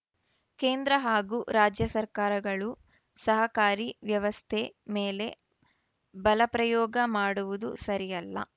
ಕೇಂದ್ರ ಹಾಗೂ ರಾಜ್ಯ ಸರ್ಕಾರಗಳು ಸಹಕಾರಿ ವ್ಯವಸ್ಥೆ ಮೇಲೆ ಬಲ ಪ್ರಯೋಗ ಮಾಡುವುದು ಸರಿಯಲ್ಲ